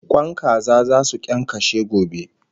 Kwan kaza zasu kyankashe gobe